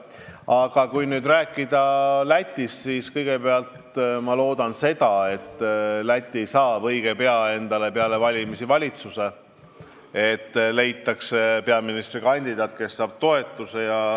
Aga kui rääkida Lätist, siis ma loodan, et Läti saab endale õige pea peale valimisi valitsuse, et leitakse peaministrikandidaat, kes saab toetuse.